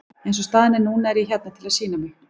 Eins og staðan er núna er ég hérna til að sýna mig.